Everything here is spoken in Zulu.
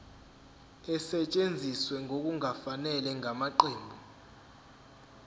esetshenziswe ngokungafanele ngamaqembu